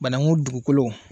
Bankun dugukolow